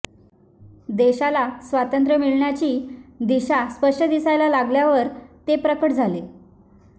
देशाला स्वातंत्र्य मिळण्याची दिशा स्पष्ट दिसायला लागल्यावर ते प्रकट झाले